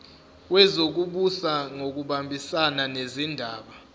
wezokubusa ngokubambisana nezindaba